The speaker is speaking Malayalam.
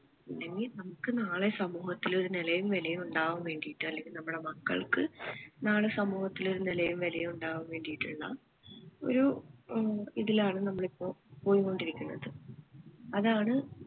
ഇല്ലെങ്കിൽ നമുക്ക് നാളെ സമൂഹത്തിൽ ഒരു നെലയും വെലയും ഉണ്ടാവാൻ വേണ്ടിയിട്ട് അല്ലെങ്കിൽ നമ്മളെ മക്കൾക്ക് നാളെ സമൂഹത്തിൽ ഒരു നെലയും വെലയും ഉണ്ടാവാൻ വേണ്ടിയിട്ടുള്ള ഒരു ഏർ ഇതിലാണ് നമ്മൾ ഇപ്പോ പോയിക്കൊണ്ടിരിക്കുന്നത് അതാണ്